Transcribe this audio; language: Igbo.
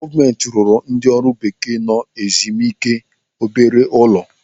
Gọọmenti ruru ndị ọrụ bekee nọ ezimike obere ụlọ.